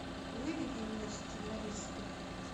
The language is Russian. выведи мне сценаристы